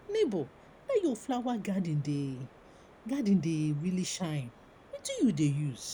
nebor dat your flower garden dey garden dey really shine wetin you dey use?